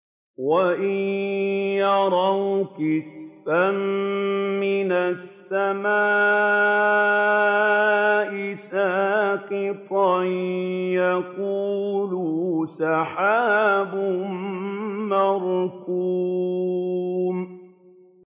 وَإِن يَرَوْا كِسْفًا مِّنَ السَّمَاءِ سَاقِطًا يَقُولُوا سَحَابٌ مَّرْكُومٌ